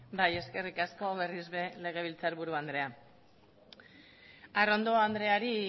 bai eskerrik asko berriz ere legebiltzarburu andrea arrondo andreari